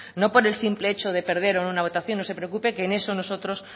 no por el simple hecho de perder o no una votación no se preocupe que en eso nosotros